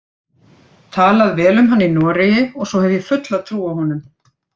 Talað vel um hann í Noregi og svo hef ég fulla trú á honum.